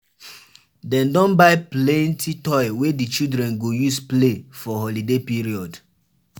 Dem don buy plenty toy wey di children go use play for holiday period.